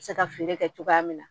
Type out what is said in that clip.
Se ka feere kɛ cogoya min na